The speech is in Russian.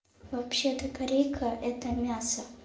вообще-то корейка это мясо